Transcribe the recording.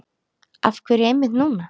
Af hverju einmitt núna?